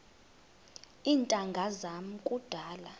iintanga zam kudala